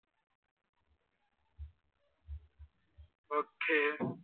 okay